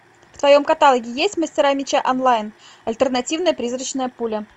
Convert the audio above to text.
в твоем каталоге есть мастера меча онлайн альтернативная призрачная пуля